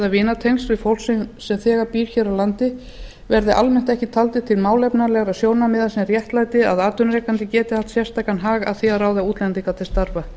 vinatengsl við fólk sem þegar býr hér á landi verði almennt ekki taldir til málefnalegra sjónarmiða sem réttlæti að atvinnurekandi geti haft sérstakan hag af því að ráða útlendinga til starfa